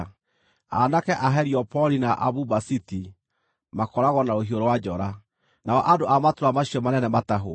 Aanake a Heliopoli na a Bubasiti makooragwo na rũhiũ rwa njora, nao andũ a matũũra macio manene matahwo.